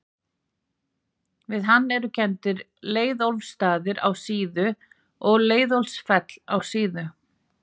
við hann eru kenndir leiðólfsstaðir á síðu og leiðólfsfell á síðu